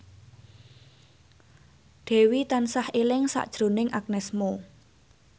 Dewi tansah eling sakjroning Agnes Mo